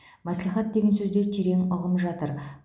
мәслихат деген сөзде терең ұғым жатыр